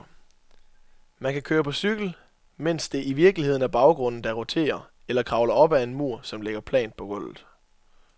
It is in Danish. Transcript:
Man kan køre på cykel, mens det i virkeligheden er baggrunden, der roterer, eller kravle op ad en mur, som ligger plant på gulvet.